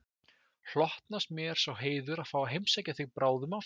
Hlotnast mér sá heiður að fá að heimsækja þig bráðum aftur